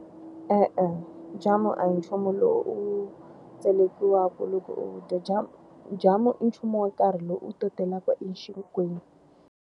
E-e jamu a hi nchumu lowu u wu tselekiwaka loko u wu dya. Jamu jamu i nchumu wa nkarhi lowu u to talaka exinkweni.